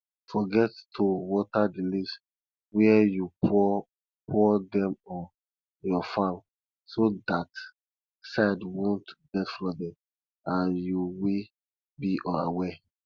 forget to water the leaves where you poured poured them on your farm so that side wont get flooded and youll be unaware